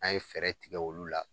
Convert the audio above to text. An ye fɛɛrɛ tigɛ olu la